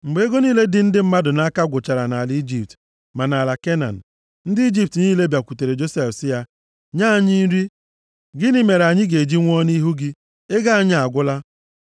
Mgbe ego niile dị ndị mmadụ nʼaka gwụchara nʼala Ijipt ma nʼala Kenan, ndị Ijipt niile bịakwutere Josef sị ya, “Nye anyị nri, gịnị mere anyị ga-eji nwụọ nʼihu gị? Ego anyị agwụla.”